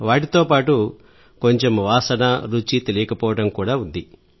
వాటితో పాటు కొంచెం వాసన రుచి తెలియకపోవడం కూడా ఉంది